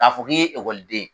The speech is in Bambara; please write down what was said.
K'a fɔ k' i ye ekɔliden.